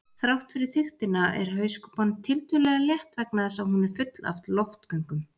Þrátt fyrir þykktina er hauskúpan tiltölulega létt vegna þess að hún er full af loftgöngum.